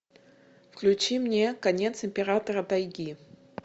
включи мне конец императора тайги